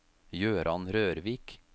Jøran Rørvik